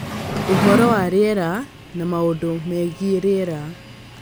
ũhoro wa rĩera na maũndũ megiĩ rĩera